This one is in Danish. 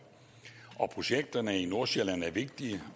projekterne i nordsjælland er vigtige